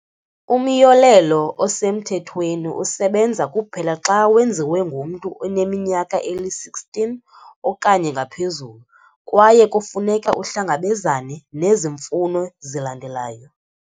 Umyolelo osemthethweni usebenza kuphela xa wenziwe ngumntu oneminyaka eli-16 okanye ngaphezulu, kwaye kufuneka uhlangabezane nezi mfuno zilandelayo.